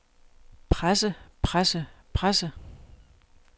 presse presse presse